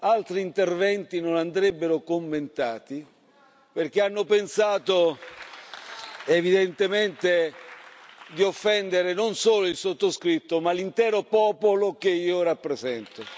Altri interventi non andrebbero commentati perché hanno pensato evidentemente di offendere non solo il sottoscritto, ma l'intero popolo che io rappresento.